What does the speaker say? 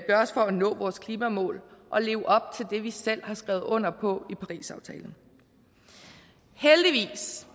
gøres for at nå vores klimamål og leve op til det vi selv har skrevet under på i parisaftalen heldigvis